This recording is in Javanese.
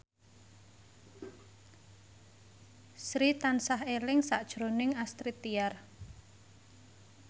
Sri tansah eling sakjroning Astrid Tiar